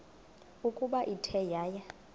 ukuba ithe yaya